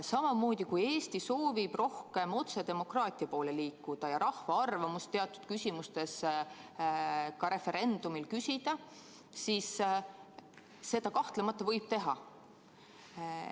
Samamoodi, kui Eesti soovib rohkem otsedemokraatia poole liikuda ja rahva arvamust teatud küsimustes ka referendumil küsida, siis seda kahtlemata võib teha.